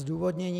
Zdůvodnění.